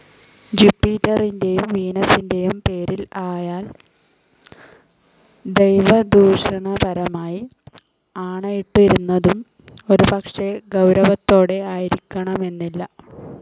ജൂപ്പിറ്ററിന്റേയും വീനസിന്റേയും പേരിൽ അയാൾ ദൈവദൂഷണപരമായി ആണയിട്ടിരുന്നതും ഒരുപക്ഷേ, ഗൗരവത്തോടെ ആയിരിക്കണമെന്നില്ല.